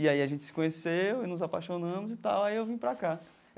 E aí a gente se conheceu e nos apaixonamos e tal, aí eu vim para cá.